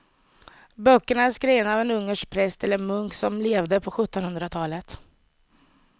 Böckerna är skrivna av en ungersk präst eller munk som levde på sjuttonhundratalet.